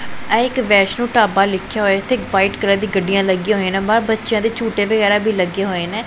ਇਹ ਇਕ ਵੈਸ਼ਨੋ ਢਾਬਾ ਲਿਖਿਆ ਹੋਇਐ ਇੱਥੇ ਇੱਕ ਵਾਈਟ ਕਲਰ ਦੀ ਗੱਡੀਆਂ ਲੱਗੀਆਂ ਹੋਈਆਂ ਨੇ ਬਾਹਰ ਬੱਚਿਆਂ ਦੇ ਝੂਟੇ ਵਗੈਰਾ ਵੀ ਲੱਗੇ ਹੋਏ ਨੇ